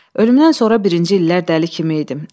Ölümdən sonra birinci illər dəli kimi idim.